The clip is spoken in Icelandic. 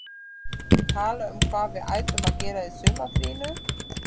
Tala um hvað við ættum að gera í sumarfríinu?